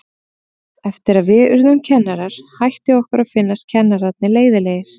Eftir að við urðum kennarar hætti okkur að finnast kennararnir leiðinlegir.